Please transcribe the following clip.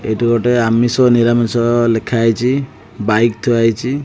ଏଇଠି ଗୋଟେ ଆମିଷ ଓ ନିରାମିଷ ଲେଖା ହେଇଛି ବାଇକ୍ ଥୁଆ ହେଇଛି।